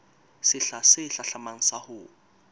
sehla se hlahlamang sa ho